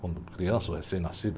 Quando criança, ou recém-nascido.